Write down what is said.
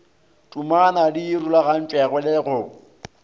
tuma di rulagantšwego le go